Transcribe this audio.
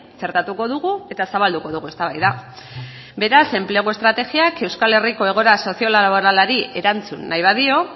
txertatuko dugu eta zabalduko dugu eztabaida beraz enplegu estrategiak euskal herriko egoera sozio laboralari erantzun nahi badio